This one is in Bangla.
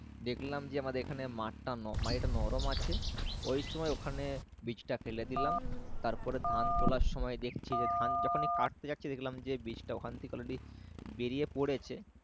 দেখলাম যে আমাদের এখানে মাঠ টা মাটিতে নরম আছে ওই সময় ওখানে বীজটা ফেলে দিলাম তারপরে ধান তোলার সময় দেখছি যে ধান যখনি কাটতে যাচ্ছি দেখলাম যে বীজটা ওখান থেকে All, Ready বেরিয়ে পড়েছে